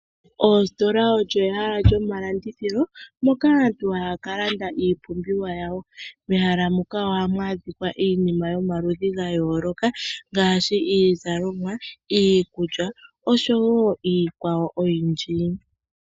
Oositola olyo ehala lyomalandithilo moka aantu haya ka landa iipumbiwa yawo. Mehala muka ohamu adhika iinima yomaludhi ga yooloka ngaashi iizalomwa, iikulya nosho wo iikwawo oyindji.